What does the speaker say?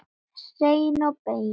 Hreinn og beinn.